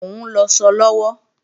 Mò ń lọṣọ lọ́wọ́